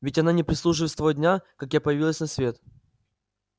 ведь она не прислуживает с того дня как я появилась на свет